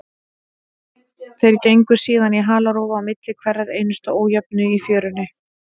Þeir gengu síðan í halarófu á milli hverrar einustu ójöfnu í fjörunni.